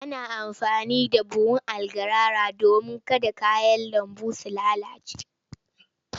Ana amfani da buhun algarara domin kada kayan lambu su lalace.